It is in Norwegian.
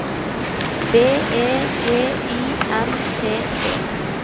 B E G Y N T E